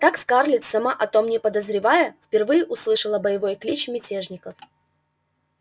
так скарлетт сама о том не подозревая впервые услышала боевой клич мятежников